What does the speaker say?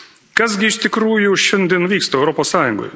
Kas gi iš tikrųjų šiandien vyksta Europos Sąjungoje?